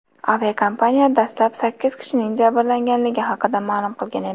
Aviakompaniya dastlab sakkiz kishining jabrlanganligi haqida ma’lum qilgan edi.